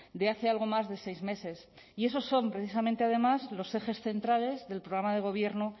de hace algo más de seis meses y esos son precisamente además los ejes centrales del programa de gobierno